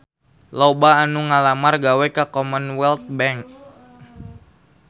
Loba anu ngalamar gawe ka Commonwealth Bank